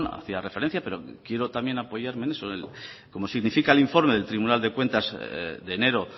hacía referencia pero quiero también apoyarme en eso como significa el informe del tribunal de cuentas de enero